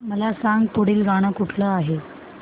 मला सांग पुढील गाणं कुठलं आहे